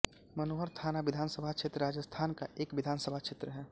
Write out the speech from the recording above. मनोहर थाना विधानसभा क्षेत्र राजस्थान का एक विधानसभा क्षेत्र है